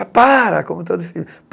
Ah, para, como todo filho.